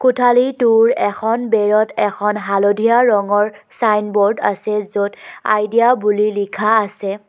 কোঠালীটোৰ এখন বেৰত এখন হালধীয়া ৰঙৰ ছাইনবোৰ্ড আছে য'ত আইডিয়া বুলি লিখা আছে।